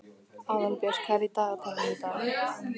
Aðalbjört, hvað er í dagatalinu í dag?